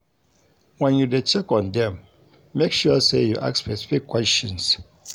When you de check on dem make sure say you ask specific questions